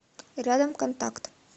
рядом контакт